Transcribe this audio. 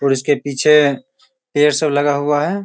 और उसके पीछे पेड़ सब लगा हुआ है।